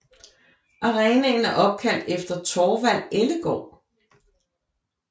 Arenaen er opkaldt efter Thorvald Ellegaard